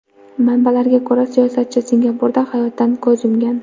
Manbalarga ko‘ra, siyosatchi Singapurda hayotdan ko‘z yumgan.